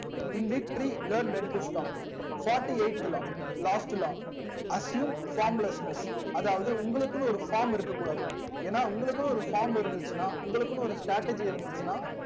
in victory learn when to stop fourty eight law last law assume formlessness அதாவது உங்களுக்குனு ஒரு form இருக்க கூடாது ஏனா உங்களுக்குனு ஒரு form இருந்துச்சினா உங்களுக்குனு ஒரு strategy இருந்துச்சினா